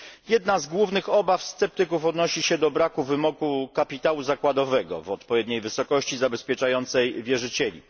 Jedna z głównych obaw sceptyków odnosi się do braku wymogu kapitału zakładowego w odpowiedniej wysokości zabezpieczającej wierzycieli.